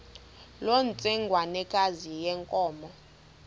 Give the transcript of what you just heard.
loo ntsengwanekazi yenkomo